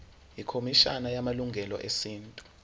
ikhomishana yamalungelo esintu